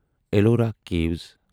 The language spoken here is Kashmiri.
ایلورا کیٖوَس